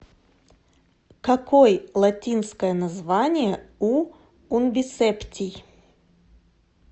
какой латинское название у унбисептий